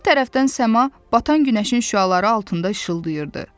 Bir tərəfdən səma batan günəşin şüaları altında işıldayırdı.